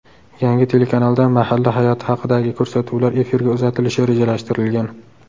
Yangi telekanalda mahalla hayoti haqidagi ko‘rsatuvlar efirga uzatilishi rejalashtirilgan.